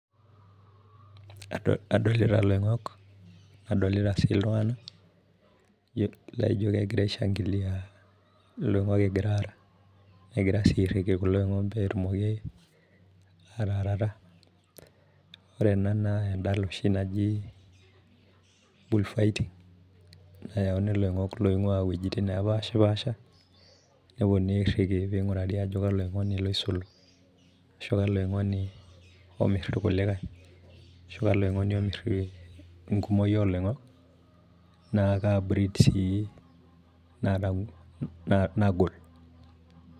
Adolita ilongok, nadolita sii iltunganak laijo kegira aishangilia ilongok egira ara. negira sii airiki kulo oingok pee etumoku aataarata. ore ena naa edala oshi naji bull fighting nayauni ilongok loing'ua iwuejitin nepashipaasha. nepuonunui airiki pee edoli ajo kalo oingonu loisul, ashu kalo oingonu omir, irkulie, ashu kalo oing'oni omir enkumoi ooloingok, naa kaa breed sii naa ka naagol.